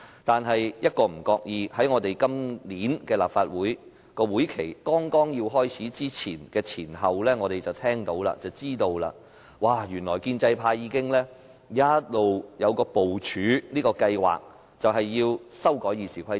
但是，一不留神，在今年立法會會期開始的前後，我們便知悉，原來建制派已經一直部署一項計劃，就是要修改《議事規則》。